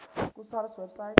ku sars website